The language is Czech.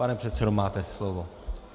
Pane předsedo, máte slovo.